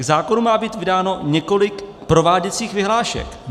K zákonu má být vydáno několik prováděcích vyhlášek.